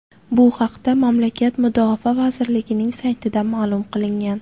Bu haqda mamlakat mudofaa vazirligining saytida ma’lum qilingan .